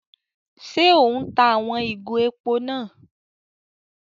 Ṣe o n tá àwon ìgò èpò náà?